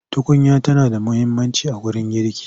Tukunya tana da muhimmanci a wurin girki.